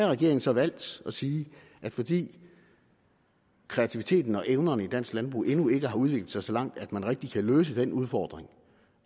regeringen så valgt at sige at fordi kreativiteten og evnerne i dansk landbrug endnu ikke har udviklet sig så langt at man rigtig kan løse den udfordring